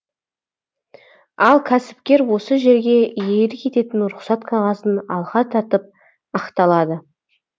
ал кәсіпкер осы жерге иелік ететін рұқсат қағазын алға тартып ықталады